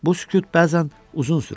Bu sükut bəzən uzun sürürdü.